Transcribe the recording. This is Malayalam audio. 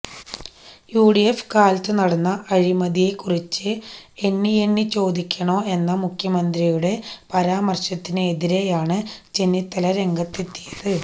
യുഡിഎഫ് കാലത്തു നടന്ന അഴിമതിയെ കുറിച്ച് എണ്ണിയെണ്ണി ചോദിക്കണോ എന്ന മുഖ്യമന്ത്രിയുടെ പരാമർശത്തിന് എതിരെയാണ് ചെന്നിത്തല രംഗത്തെത്തിയത്